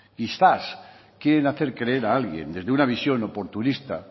quizás quieren hacer creer a alguien desde una visión oportunista